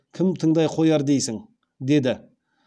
кім тыңдай қояр дейсің деді